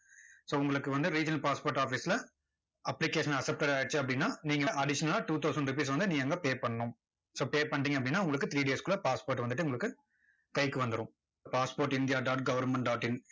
so உங்களுக்கு வந்து regional passport office ல application accepted ஆகிருச்சு அப்படின்னா, நீங்க additional லா two thousand rupees வந்து நீங்க அங்க pay பண்ணணும் so pay பண்ணிட்டீங்க அப்படின்னா, உங்களுக்கு three days க்குள்ள passport வந்துட்டு உங்களுக்கு, கைக்கு வந்துரும். passport india dot government dot in